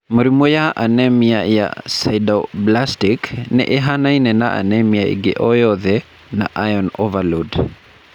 Mĩrimũ ya anemia ya sideroblastic nĩ ĩhaanaine na ya anemia ĩngĩ o yothe na iron overload.